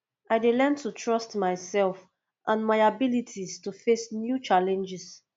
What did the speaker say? i dey learn to trust myself and my abilities to face new challenges